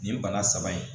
Nin bana saba in